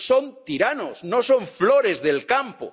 Son tiranos, no son flores del campo.